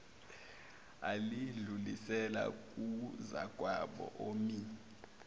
layidlulisela kuzakwabo omi